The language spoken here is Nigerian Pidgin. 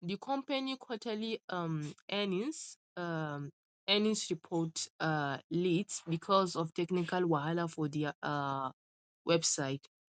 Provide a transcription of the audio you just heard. di company quarterly um earnings um earnings report um late because of technical wahala for dia um website